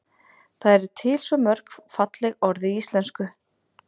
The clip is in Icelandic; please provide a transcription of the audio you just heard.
það eru til svo mörg falleg orð í íslenksu